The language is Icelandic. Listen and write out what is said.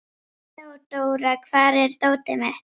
Þeódóra, hvar er dótið mitt?